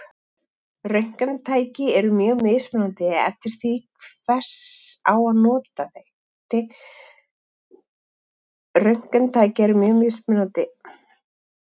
Röntgentæki eru mjög mismunandi eftir því til hvers á að nota þau.